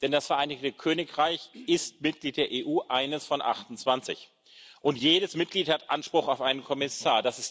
Denn das Vereinigte Königreich ist Mitglied der EU eines von 28 und jedes Mitglied hat Anspruch auf einen Kommissar.